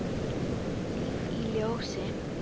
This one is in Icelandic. Líf í ljósi.